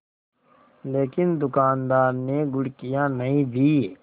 लेकिन दुकानदार ने घुड़कियाँ नहीं दीं